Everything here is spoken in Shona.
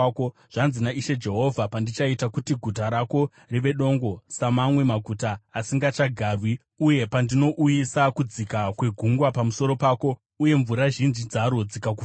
“Zvanzi naIshe Jehovha: Pandichaita kuti guta rako rive dongo, samamwe maguta asingachagarwi uye pandinouyisa kudzika kwegungwa pamusoro pako uye mvura zhinji dzaro dzikakufukidza,